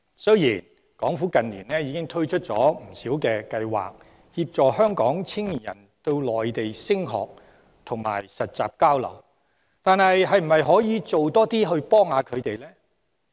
雖然港府近年已推出不少計劃，協助香港青年人到內地升學及實習交流，但可否推出更多措施幫助他們？